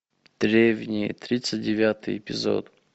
древние тридцать девятый эпизод